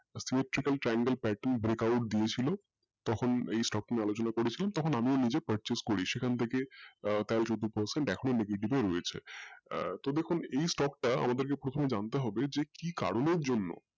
electrical triangle pattern breakout দিয়ে ছিল তক্ষণ এই stock নিয়ে আলোচনা করে ছিলাম তখন আমি নিজে purchase করি রয়েছে আর তো দেখুন এই stock টা আমাদেরকে জানতে হবে যে কি করণের জন্য